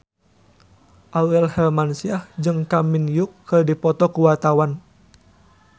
Aurel Hermansyah jeung Kang Min Hyuk keur dipoto ku wartawan